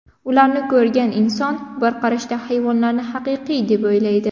Ularni ko‘rgan inson bir qarashda hayvonlarni haqiqiy deb o‘ylaydi.